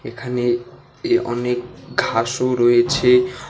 এখানে এ অনেক ঘাসও রয়েছে।